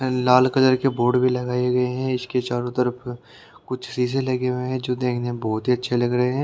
लाल colour के board भी लगाए गए हैं इसके चारों तरफ कुछ शीशे लगे हुए हैं जो देखना बहुत अच्छे लग रहे हैं।